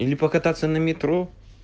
или покататься на метро